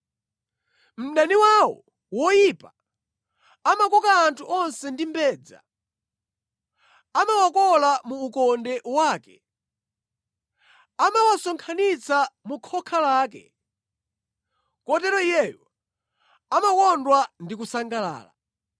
Mdani wawo woyipa amakoka anthu onse ndi mbedza, amawakola mu ukonde wake, amawasonkhanitsa mu khoka lake; kotero iyeyo amakondwa ndi kusangalala.